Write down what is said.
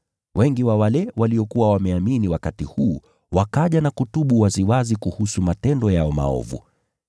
Wengi wa wale waliokuwa wameamini wakati huu wakaja na kutubu waziwazi kuhusu matendo yao maovu.